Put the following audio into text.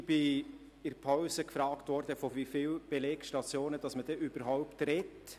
Ich wurde in der Pause gefragt, von wie vielen Belegstationen man spreche.